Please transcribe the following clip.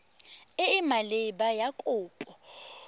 e e maleba ya kopo